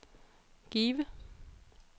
Give